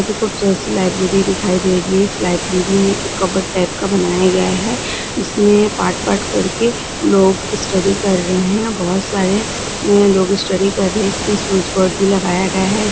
एक खूबसूरत सी लाइब्रेरी दिखाई दे रही है इस लाइब्रेरी में एक कबड टाईप का बनाया गया है उसमें पाट पाट करके लोग स्टडी कर रहे हैं बहुत सारे लोग स्टडी कर रहे है इसमें स्विच बोर्ड भी लगाया गया है।